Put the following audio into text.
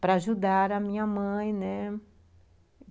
para ajudar a minha mãe.